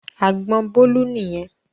Àgbọn Bólú nìyẹn.